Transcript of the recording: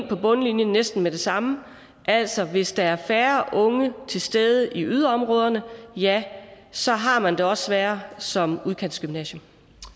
på bundlinjen næsten med det samme altså at hvis der er færre unge til stede i yderområderne ja så har man det også sværere som udkantsgymnasium